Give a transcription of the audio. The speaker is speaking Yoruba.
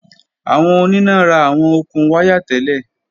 Awọn onina ra awọn okun waya tẹlẹ.